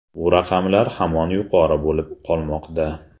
Bu raqamlar hamon yuqori bo‘lib qolmoqda.